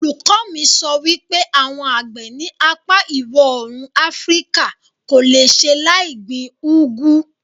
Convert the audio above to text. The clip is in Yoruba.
Olùkọ mi sọ wípé àwọn àgbẹ̀ ní apá ìwọ̀òrùn afríkà kò le ṣe láì gbin úgú